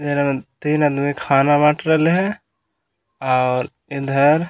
तीन आदमी खाना बाट रहले हे और इधर --